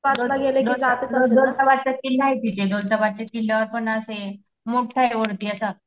दौलताबाद चा किल्लाये दौलताबादच्या किल्ल्यावर पण असे मोठाये वरती असा.